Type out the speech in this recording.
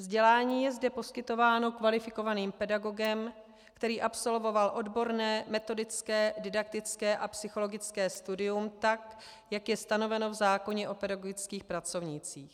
Vzdělání je zde poskytováno kvalifikovaným pedagogem, který absolvoval odborné, metodické, didaktické a psychologické studium tak, jak je stanoveno v zákoně o pedagogických pracovnících.